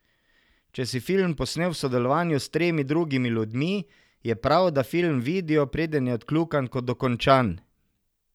Če si film posnel v sodelovanju s tremi drugimi ljudmi, je prav, da film vidijo, preden je odkljukan kot dokončan.